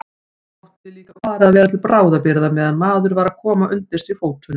Átti líka bara að vera til bráðabirgða meðan maður var að koma undir sig fótunum.